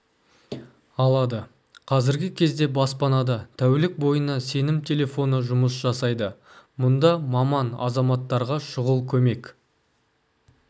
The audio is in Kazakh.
алады қазіргі кезде баспанада тәулік бойына сенім телефоны жұмыс жасайды мұнда маман азаматтарға шұғыл көмек